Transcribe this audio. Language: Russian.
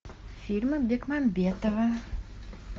фильмы бекмамбетова